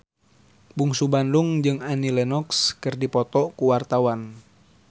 Bungsu Bandung jeung Annie Lenox keur dipoto ku wartawan